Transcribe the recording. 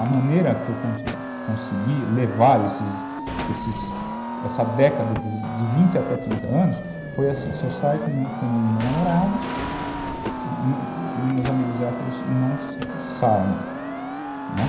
A maneira que eu consegui levar esses, esses, essa década de vinte até trinta anos foi assim, se eu saio com o meu namorado, meus amigos héteros não saem, né.